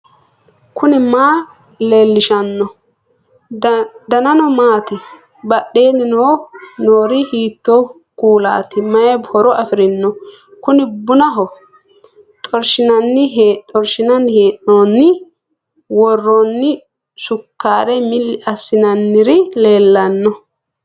knuni maa leellishanno ? danano maati ? badheenni noori hiitto kuulaati ? mayi horo afirino ? kuni bunaho . xorshshinanni hee'noonni woroonni sukkaare milli assi'nanniri leellanno